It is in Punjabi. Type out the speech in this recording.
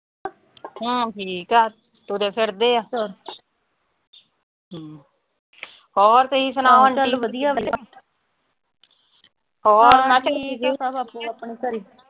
ਹੁਣ ਠੀਕ ਆ, ਤੁਰੇ ਫਿਰਦੇ ਆ। ਹਮ ਹੋਰ ਤੁਸੀਂ ਸੁਣਾਓ। ਹੋੇਰ